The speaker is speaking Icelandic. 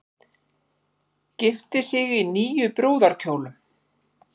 Gifti sig í níu brúðarkjólum